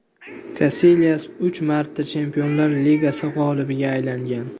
Kasilyas uch marta Chempionlar Ligasi g‘olibiga aylangan.